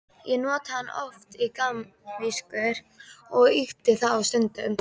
Ég notaði hann oft í gamanvísur og ýkti þá stundum.